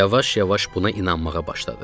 Yavaş-yavaş buna inanmağa başladıq.